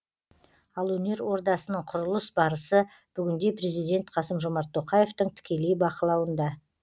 ал өнер ордасының құрылыс барысы бүгінде президент қасым жомарт тоқаевтың тікелей бақылауында